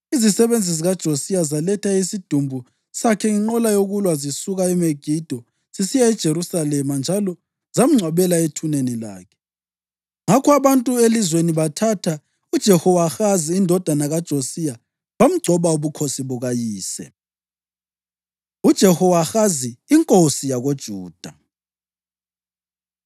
Izisebenzi zikaJosiya zaletha isidumbu sakhe ngenqola yokulwa zisuka eMegido zisiya eJerusalema njalo zamngcwabela ethuneni lakhe. Ngakho abantu elizweni bathatha uJehowahazi indodana kaJosiya bamgcoba ubukhosi bukayise. UJehowahazi Inkosi YakoJuda